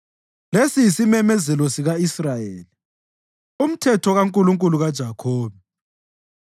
lesi yisimemezelo sika-Israyeli, umthetho kaNkulunkulu kaJakhobe.